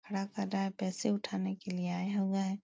खड़ा कर रहा है। पैसे उठाने के लिए आया हुआ है।